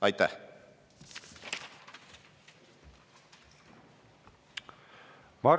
Aitäh!